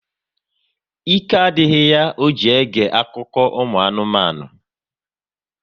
Ike adịghị ya ọ ji ege akụkọ ụmụ anụmanụ